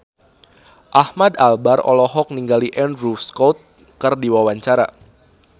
Ahmad Albar olohok ningali Andrew Scott keur diwawancara